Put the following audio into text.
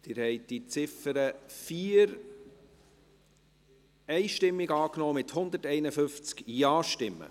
Sie haben die Ziffer 4 einstimmig angenommen, mit 151 Ja-Stimmen.